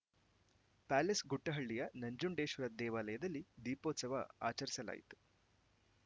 palace ಗುಟ್ಟಹಳ್ಳಿಯ ನಂಜುಂಡೇಶ್ವರ ದೇವಾಲಯದಲ್ಲಿ ದೀಪೋತ್ಸವ ಆಚರಿಸಲಾಯಿತು